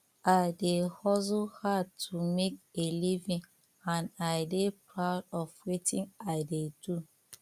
i dey hustle hard to make a living and i dey proud of wetin i dey do